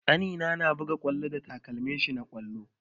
Ƙanina na buga ƙwallo da takalmin shi na ƙwallo.